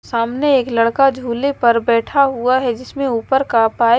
सामने एक लड़का झूले पर बैठा हुआ है जिसमें ऊपर का पाय --